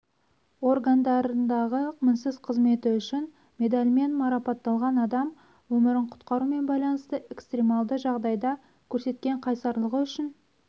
органдарындағы мінсіз қызметі үшін медалімен марапатталған адам өмірін құтқарумен байланысты экстремалды жағдайда көрсеткен қайсарлығы үшін